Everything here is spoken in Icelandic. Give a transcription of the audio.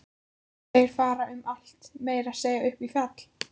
Þeir fara um allt, meira að segja upp í fjall.